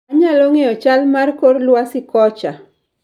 Anyalo ng'eyo chal mar kor lwasi kocha